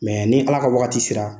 Ni Ala ka wagati sera